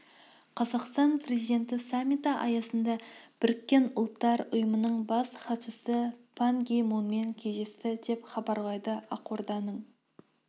қазақстан президенті саммиті аясында біріккен ұлттар ұйымының бас хатшысы пан ги мунмен кездесті деп хабарлайды ақорданың